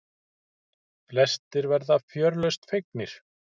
Flestir verða fjörlausn fegnir.